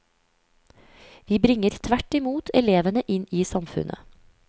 Vi bringer tvert imot elevene inn i samfunnet.